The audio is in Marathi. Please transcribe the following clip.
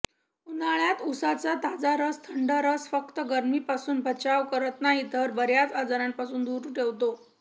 उन्हाळ्यात ऊसाचा ताजा थंडा रस फक्त गर्मीपासून बचाव करत नाही तर बर्याच आजारपणापासून दूर ठेवतो